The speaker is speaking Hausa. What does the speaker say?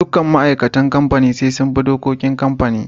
Dukkan ma'aikatan kamfani sai sun bi dokokin kamfani.